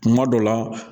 Kuma dɔ la